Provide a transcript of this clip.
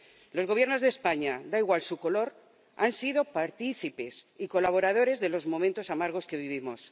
Los Gobiernos de España, da igual su color, han sido partícipes y colaboradores de los momentos amargos que vivimos.